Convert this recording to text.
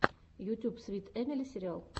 ютьюб свит эмили сериал